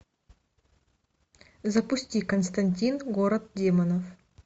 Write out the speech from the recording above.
запусти константин город демонов